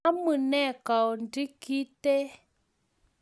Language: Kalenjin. Amunee kounti kintee?